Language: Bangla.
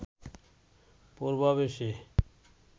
প্রভাব এসে